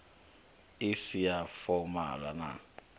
i si ya fomala na